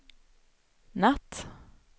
natt